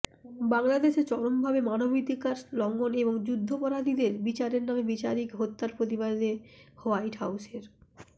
বাংলাদেশে চরমভাবে মানবাধিকার লংঘন এবং যুদ্ধাপরাধীদের বিচারের নামে বিচারিক হত্যার প্রতিবাদে হোয়াইট হাউসের